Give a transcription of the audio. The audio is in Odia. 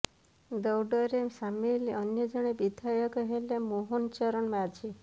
ଦୌଡରେ ସାମିଲ ଅନ୍ୟଜଣେ ବିଧାୟକ ହେଲେ ମୋହନ ଚରଣ ମାଝି